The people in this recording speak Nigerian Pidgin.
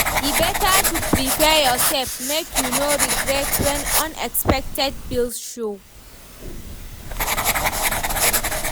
E better to prepare yoursef make you no regret when unexpected bills show.